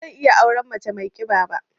Ba zan iya auren mace mai ƙiba ba.